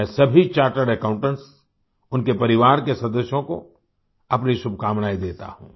मैं सभी chartered accountants उनके परिवार के सदस्यों को अपनी शुभकामनाएं देता हूँ